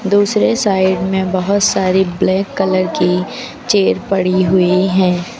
दूसरे साइड में बहोत सारी ब्लैक कलर की चेयर पड़ी हुई है।